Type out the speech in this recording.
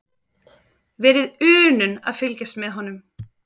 Verið unun að fylgjast með honum.